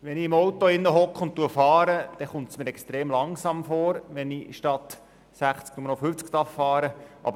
Wenn ich im Auto sitze und fahre, dann kommt es mir extrem langsam vor, wenn ich in der Stadt statt 60 km/h nur noch 50 km/h fahren darf.